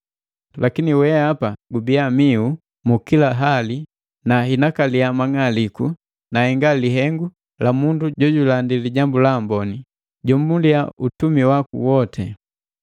Lakini wehapa, gubiya mihu mu kila hali na inakalia mang'aliku na henga lihengu la mundu jojulandi Lijambu la Amboni, jomuliya utumi waku woti.